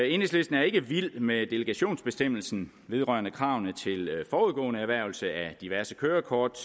enhedslisten er ikke vild med delegationsbestemmelsen vedrørende kravene til forudgående erhvervelse af diverse kørekort